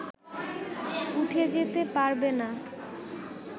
উঠে যেতে পারবে না